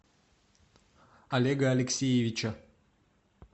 олега алексеевича